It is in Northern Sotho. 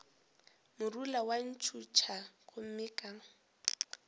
morula wa ntšhutha gomme ka